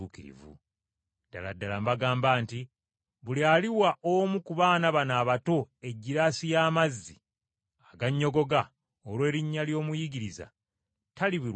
Ddala ddala mbagamba nti buli aliwa omu ku baana bano abato egiraasi y’amazzi agannyogoga olw’erinnya ly’omuyigiriza talirema kuweebwa mpeera ye.”